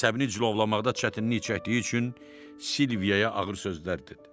Əsəbini cilovlamaqda çətinlik çəkdiyi üçün Silviyaya ağır sözlər dedi.